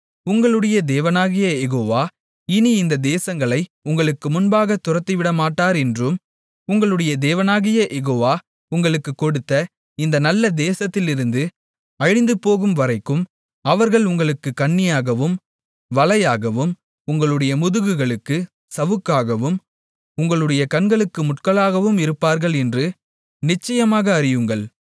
உங்களுடைய தேவனாகிய யெகோவா இனி இந்த தேசங்களை உங்களுக்கு முன்பாகத் துரத்திவிடமாட்டார் என்றும் உங்களுடைய தேவனாகிய யெகோவா உங்களுக்குக் கொடுத்த இந்த நல்ல தேசத்திலிருந்து அழிந்துபோகும்வரைக்கும் அவர்கள் உங்களுக்குக் கண்ணியாகவும் வலையாகவும் உங்களுடைய முதுகுகளுக்குச் சவுக்காகவும் உங்களுடைய கண்களுக்கு முட்களாகவும் இருப்பார்கள் என்றும் நிச்சயமாக அறியுங்கள்